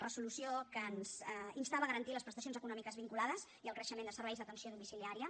resolució que ens instava a garantir les prestacions econòmiques vinculades i el creixement de serveis d’atenció domiciliària